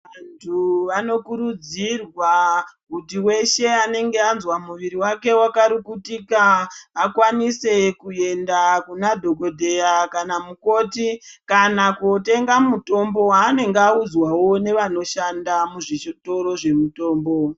Vantu vanokurudzirwa kuti veshe anenge azwe mwiri vake vakarukutika akwanise kuenda kuna dhogodheya kana mukoti. Kana kotenga mutombo vanenge audzwavo nevanoshanda muzvitoro zvemutombo.